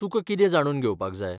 तुका कितें जाणून घेवपाक जाय?